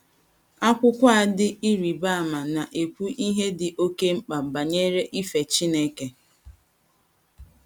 Akwụkwọ a dị ịrịba ama na - ekwu ihe dị oké mkpa banyere ife Chineke.